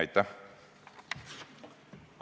Aitäh!